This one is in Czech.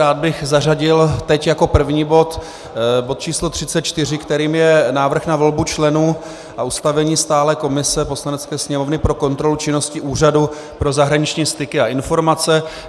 Rád bych zařadil teď jako první bod bod číslo 34, kterým je návrh na volbu členů a ustavení stálé komise Poslanecké sněmovny pro kontrolu činnosti Úřadu pro zahraniční styky a informace.